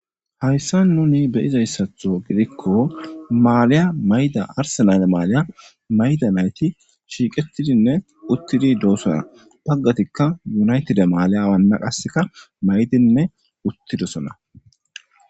Haysan nuni be'zaysato gidiko maliya ma'iza arsenale makiya ma'ida nayti shiqetidinne utidi dosona bagatika unaytide maliya qasika mayidinne uthidosona.